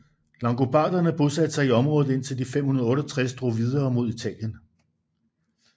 Langobarderne bosatte sig i området indtil de i 568 drog videre mod Italien